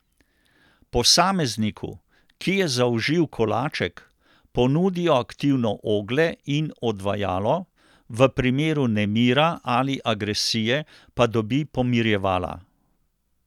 Posamezniku, ki je zaužil kolaček, ponudijo aktivno oglje in odvajalo, v primeru nemira ali agresije pa dobi pomirjevala.